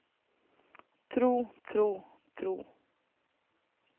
tro tro tro